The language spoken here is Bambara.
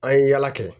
An ye yala kɛ